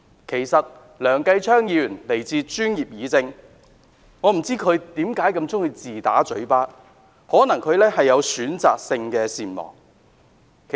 其實，梁繼昌議員來自專業議政，但我不明白他為何如此喜歡自打嘴巴，或許他患有選擇性善忘症。